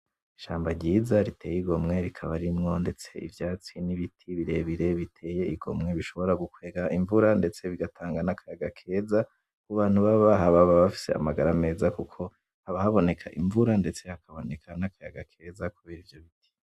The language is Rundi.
Ishamba ryiza riteye igomwe rikaba ririmwo ndetse ivyatsi n’ibiti birebire biteye igomwe bishobora gukwega imvura ndetse bigatanga nakayaga keza , kubantu baba bahaba baba bafise amagara meza kuko haba haboneka imvura ndetse hakaboneka nakayaga keza kubera ivyobiti .